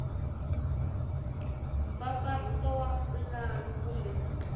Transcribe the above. b mpfampfarhuto wa pulani kumbe